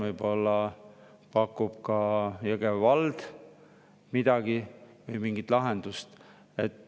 Võib-olla pakub ka Jõgeva vald mingit lahendust.